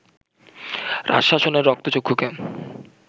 রাজশাসনের রক্তচক্ষুকে